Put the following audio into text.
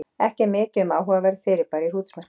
Ekki er mikið um áhugaverð fyrirbæri í hrútsmerkinu.